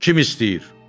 Kim istəyir?